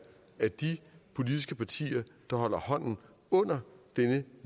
at de politiske partier der holder hånden under denne